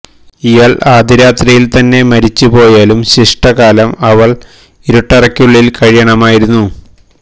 ഇയാൾ ആദ്യരാത്രിയിൽ തന്നെ മരിച്ചു പോയാലും ശിഷ്ടകാലം അവൾ ഇരുട്ടറയ്ക്കുള്ളിൽ കഴിയണമായിരുന്നു